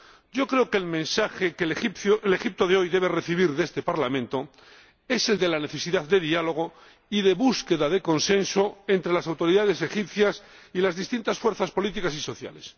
Yo creo que el mensaje que el Egipto de hoy debe recibir de este Parlamento es el de la necesidad de diálogo y de búsqueda de consenso entre las autoridades egipcias y las distintas fuerzas políticas y sociales.